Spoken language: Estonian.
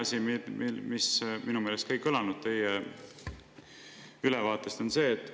Ja teine asi, mis minu meelest teie ülevaatest ei kõlanud.